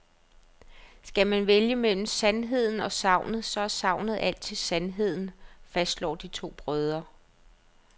Skal man vælge mellem sandheden og sagnet, så er sagnet altid sandheden, fastslår de to brødre.